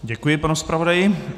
Děkuji panu zpravodaji.